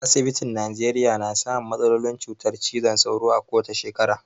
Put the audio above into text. Asibitin Nijeriya na samun matsalolin cutar cizon sauro ko wace shekara.